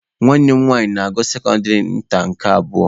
Nwanne m nwanyi na-agụ sekọndịrị nta nke abụọ.